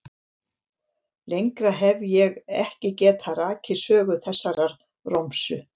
Lengra hef ég ekki getað rakið sögu þessarar romsu.